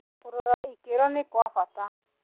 Kũrora ikĩro nĩ kwa bata.